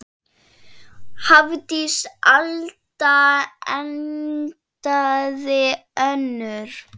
Hafdís Alda endaði önnur.